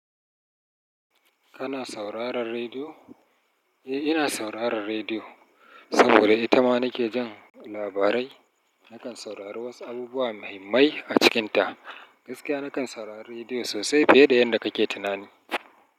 Kana sauraran rediyo? Eh, ina sauraran rediyo saboda ita ma nake jin labarai. Nakan saurari wasu abubuwa muhimmai a cikinta. Gaskiya nakan saurari rediyo sosai fiye da yadda kake tunani.